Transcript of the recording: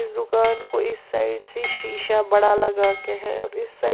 दुकान को इस साइड से शीशा बड़ा लगा के है और इस साइड ।